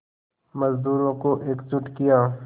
मज़दूरों को एकजुट किया